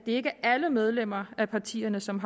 ikke er alle medlemmer af partierne som